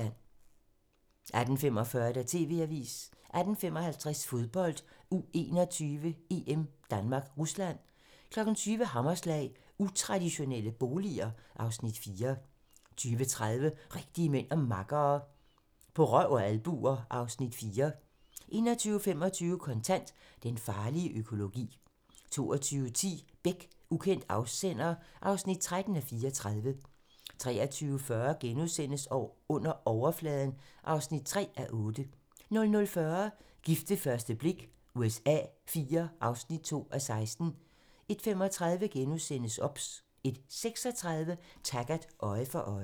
18:45: TV-avisen 18:55: Fodbold: U21-EM: Danmark-Rusland 20:00: Hammerslag - Utraditionelle boliger (Afs. 4) 20:30: Rigtige mænd og makkere - På røv og albuer (Afs. 4) 21:25: Kontant: Den farlige økologi 22:10: Beck: Ukendt afsender (13:34) 23:40: Under overfladen (3:8)* 00:40: Gift ved første blik USA IV (2:16) 01:35: OBS * 01:36: Taggart: Øje for øje